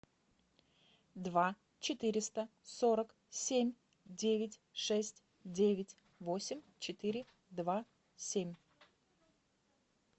два четыреста сорок семь девять шесть девять восемь четыре два семь